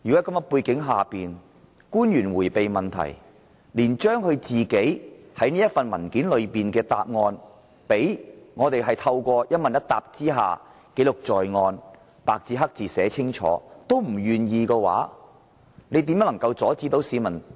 當官員迴避問題，連透過與議員一問一答，把政府文件中提供的答案白紙黑字記錄在案也不願意，議員又怎能不提出質詢？